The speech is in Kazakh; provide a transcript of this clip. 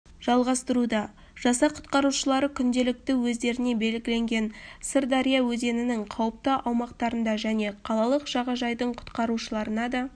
жалғастыруда жасақ құтқарушылары күнделікті өздеріне белгіленген сырдария өзенінің қауіпті аумақтарында және қалалық жағажайдың құтқарушыларына да